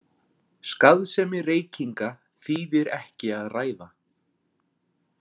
Skaðsemi reykinga þýðir ekki að ræða.